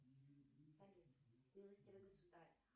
салют милостивый государь